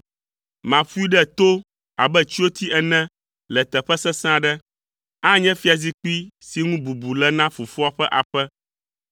Maƒoe ɖe to abe tsyoti ene le teƒe sesẽ aɖe. Anye fiazikpui si ŋu bubu le na fofoa ƒe aƒe.